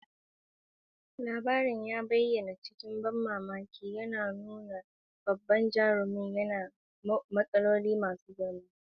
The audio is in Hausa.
Labarin ya bayyana cikin ban mamaki, yana nuna bajintar jaruntaka da matsaloli masu girma.